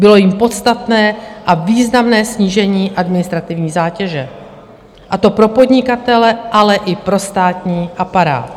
Bylo jím podstatné a významné snížení administrativní zátěže, a to pro podnikatele, ale i pro státní aparát.